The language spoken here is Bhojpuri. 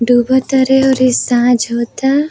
डूबा तारे और इ साँझ होता।